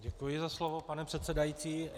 Děkuji za slovo, pane předsedající.